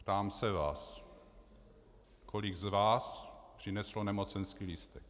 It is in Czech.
Ptám se vás: Kolik z vás přineslo nemocenský lístek?